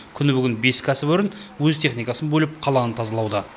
күні бүгін бес кәсіпорын өз техникасын бөліп қаланы тазалауда